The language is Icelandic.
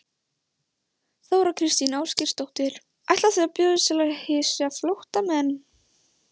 Þóra Kristín Ásgeirsdóttir: Ætlar þú að bjóðast til að hýsa flóttamenn?